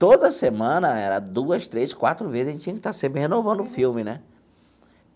Toda semana, duas, três, quatro vezes, a gente tinha que estar sempre renovando o filme né.